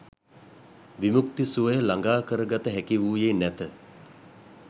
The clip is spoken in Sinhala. විමුක්ති සුවය ළඟා කරගත හැකි වූයේ නැත.